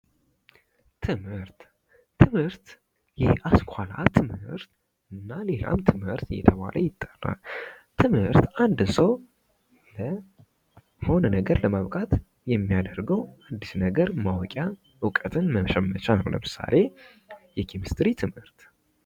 ትምህርት፦ ትምህርት የአስኳላ ትምህርት እና ሌላም ትምህርት እየተባል ይጠራል። ትምህርት አንድ ሰው ለሆነ ነገር ለመብቃት የሚያደርገው አዲስ ነገር ማወቂያ እውቀትን መሸመቻ ነው። ለምሳሌ የኬሚስትሪ ትምህርት።